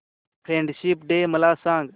friendship day मला सांग